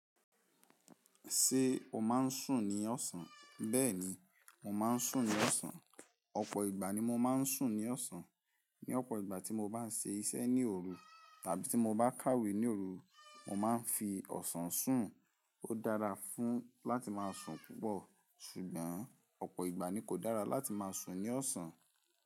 Ṣé o máa ń sùn ní ọ̀sán? Bẹ́ẹ̀ni, mo máa ń sùn ní ọ̀sán. Ọ̀pọ̀ ìgbà ni mo máa ń sùn ní ọ̀sán. Ni ọ̀pọ̀ ìgbà tí mo bá ń ṣe iṣẹ́ ní òru tàbí tí mo bá kàwé ní òru, mo máa ń fi ọ̀sán sùn. Ó dára fún láti máa sùn púpọ̀ ṣùgbọ́n ọ̀pọ̀ ìgbà ni kò dára láti máa sùn ní ọ̀sán.